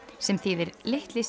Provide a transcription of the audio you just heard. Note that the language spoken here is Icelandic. sem þýðir litli